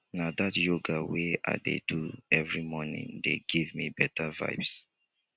na dat yoga wey i dey do every morning dey give me beta vibes.